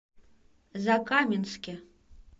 закаменске